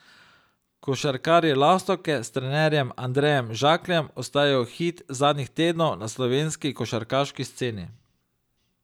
Košarkarji Lastovke s trenerjem Andrejem Žakljem ostajajo hit zadnjih tednov na slovenski košarkarski sceni.